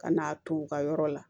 Ka n'a to u ka yɔrɔ la